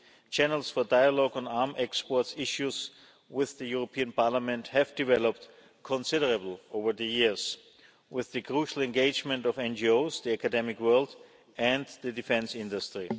Channels for dialogue on arms export issues with this Parliament have developed considerably over the years, with the crucial engagement of NGOs, the academic world and the defence industry.